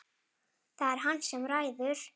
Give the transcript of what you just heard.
Það er hann sem ræður.